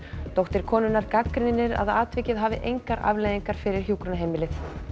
dóttir konunnar gagnrýnir að atvikið hafi engar afleiðingar fyrir hjúkrunarheimilið